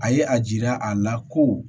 A ye a jira a la ko